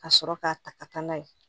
Ka sɔrɔ k'a ta ka taa n'a ye